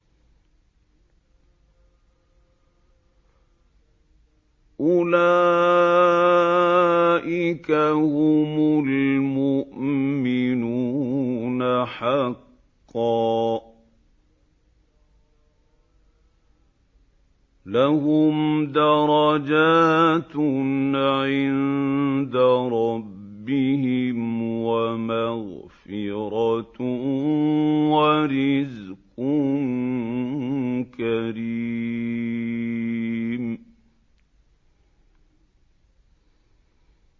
أُولَٰئِكَ هُمُ الْمُؤْمِنُونَ حَقًّا ۚ لَّهُمْ دَرَجَاتٌ عِندَ رَبِّهِمْ وَمَغْفِرَةٌ وَرِزْقٌ كَرِيمٌ